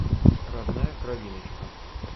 родная кровиночка